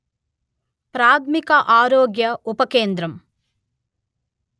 ప్రాథమిక ఆరోగ్య ఉపకేంద్రం